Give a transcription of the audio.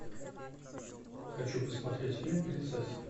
хочу посмотреть фильм принцесса